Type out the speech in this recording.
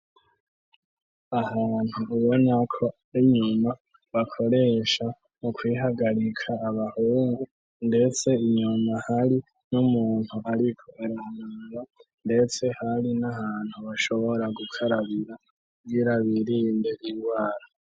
Ahantu ubona ko inyuma bakoresha mu kwihagarika abahungu ndetse inyuma hari n'umuntu ariko aranuga ndetse hari n'ahantu bashobora gukarabira kugira birinde indwara.